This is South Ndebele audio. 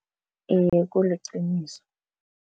Iye, kuliqiniso.